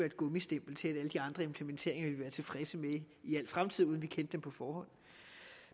et gummistempel til at alle de andre implementeringer ville tilfredse med i al fremtid uden vi kendte dem på forhånd